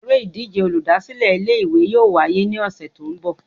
Eré ìdíje olùdásílè Ilé ìwé yóò wáyé ní òsè tó n bò